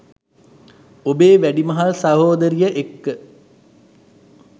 ඔබේ වැඩිමහල් සහෝදරිය එක්ක